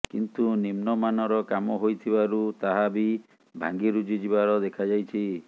କିନ୍ତୁ ନିମ୍ନମାନର କାମ ହୋଇଥିବାରୁ ତାହା ବି ଭାଙ୍ଗିରୁଜି ଯିବାର ଦେଖାଯାଇଛି